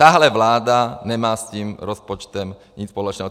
Takhle vláda nemá s tím rozpočtem nic společného.